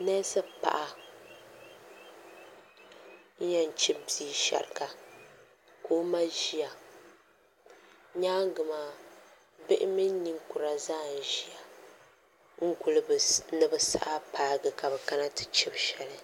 neesi paɣa n yɛn chibi bia shɛriga ka o ma ʒiya nyaangi maa bihi mini ninkura zaa n ʒiya n guli ni bi saha paagi ka bi kana ti chibi shɛli